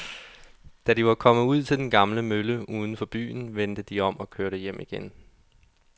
Da de var kommet ud til den gamle mølle uden for byen, vendte de om og kørte hjem igen.